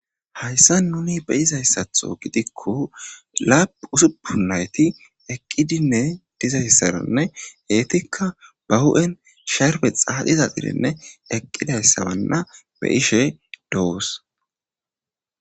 hayssa nuni be izayssatho gidikko lap usuppun nayti eqqidinne dizayssaranne geetikka ba hu7en sherbe xaaxiza xirenne eqqidayssabanna be ishe doos